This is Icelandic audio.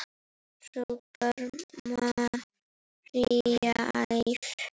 hrópar María æf.